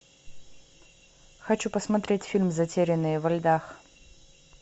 хочу посмотреть фильм затерянные во льдах